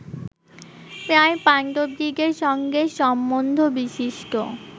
প্রায় পাণ্ডবদিগের সঙ্গে সম্বন্ধবিশিষ্ট